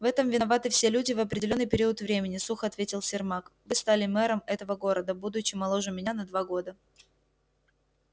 в этом виноваты все люди в определённый период времени сухо ответил сермак вы стали мэром этого города будучи моложе меня на два года